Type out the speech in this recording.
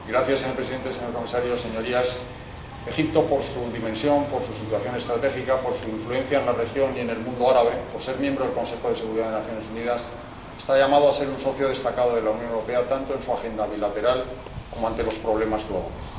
Señor presidente, señor comisario, señorías, Egipto, por su dimensión, por su situación estratégica, por su influencia en la región y en el mundo árabe, por ser miembro del Consejo de Seguridad de las Naciones Unidas, está llamado a ser un socio destacado de la Unión Europea, tanto en su agenda bilateral como ante los problemas globales.